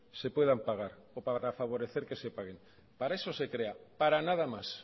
se puedan pagar o para favorecer que se paguen para eso se crea para nada más